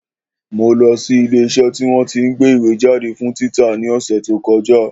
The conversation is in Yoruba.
Mo lọ sí ilé iṣẹ́ tí wọ́n tí ń gbé ìwé jáde fún títa ní ọ̀sẹ̀ tí ó kọjá